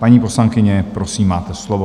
Paní poslankyně, prosím, máte slovo.